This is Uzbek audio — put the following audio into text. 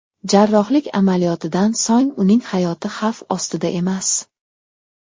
Jarrohlik amaliyotidan so‘ng uning hayoti xavf ostida emas.